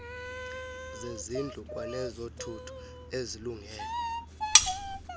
zezindlu kwanezothutho ezilungele